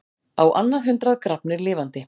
Á annað hundrað grafnir lifandi